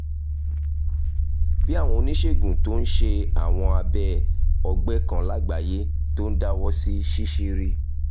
bí àwọn oníṣègùn tó ń ṣe àwọn abẹ́ ọ̀gbẹ́ kan lágbàáyé tó ń dáwọ́ sí ṣíṣírí